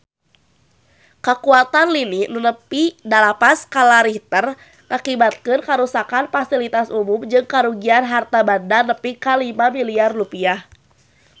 Kakuatan lini nu nepi dalapan skala Richter ngakibatkeun karuksakan pasilitas umum jeung karugian harta banda nepi ka 5 miliar rupiah